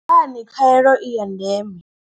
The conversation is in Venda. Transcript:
Ndi ngani khaelo i ya ndeme.